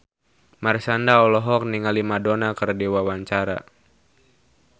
Marshanda olohok ningali Madonna keur diwawancara